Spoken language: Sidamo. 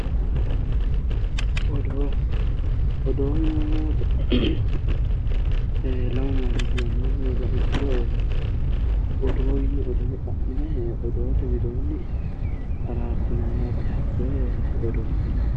Odo yineemmo woyte lamu manni giwameewohu heeriro lamenka xa'mine hakkoye araarsinanniti odoote yineemmo